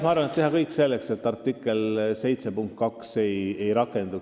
Ma arvan, et tuleb teha kõik selleks, et Euroopa Liidu lepingu artikli 7 punkt 2 ei rakenduks.